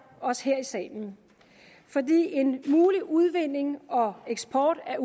os her i salen for en mulig udvinding og eksport af